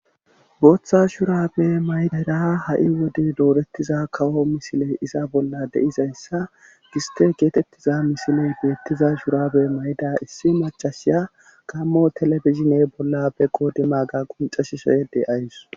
Booththa shurabe maydara ha7i wode doorettiza kawo misile iza bolla deizayssa giste geetettiza misiley beettiza shurabe mayda issi macashiya kammo telefizine bolla be qoodima ga quncashsoyede ays.